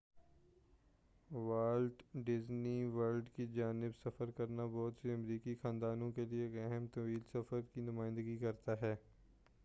wallet Disney World کی جانب سفر کرنا بہت سے امریکی خاندانوں کے لیے ایک اہم طویل سفر کی نمائندگی کرتا ہے